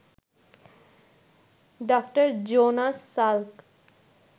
ডা: Jonas Salk